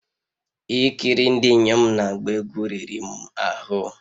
Ikiri ndị inyom na-agba egwu riri m ahụ